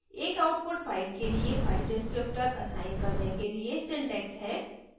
एक output file के लिए file descriptor असाइन करने के लिए syntax हैः